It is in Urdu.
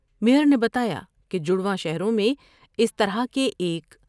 میئر نے بتایا کہ جڑواں شہروں میں اس طرح کے ایک